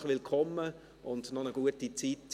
Herzlich willkommen und noch eine gute Zeit.